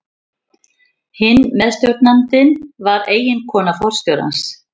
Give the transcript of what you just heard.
Hinn meðstjórnandinn var eiginkona forstjórans.